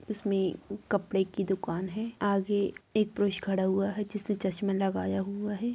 इसमें एक कपड़े की दुकान है आगे एक पुरुष खड़ा हुआ है जिसने चश्मे लगाया हुआ है।